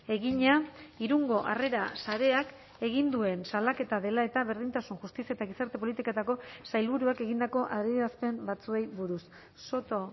egina irungo harrera sareak egin duen salaketa dela eta berdintasun justizia eta gizarte politiketako sailburuak egindako adierazpen batzuei buruz soto